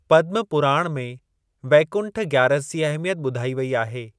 पद्म पुराण में वैकुंठ ग्‍यारस जी अहमियत ॿुधाई वेई आहे।